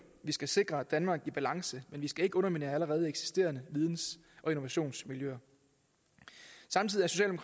vi skal sikre et danmark i balance men vi skal ikke underminere allerede eksisterende videns og innovationsmiljøer samtidig